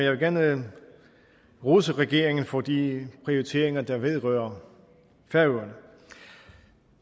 vil gerne rose regeringen for de prioriteringer der vedrører færøerne